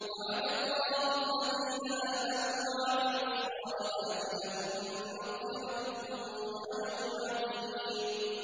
وَعَدَ اللَّهُ الَّذِينَ آمَنُوا وَعَمِلُوا الصَّالِحَاتِ ۙ لَهُم مَّغْفِرَةٌ وَأَجْرٌ عَظِيمٌ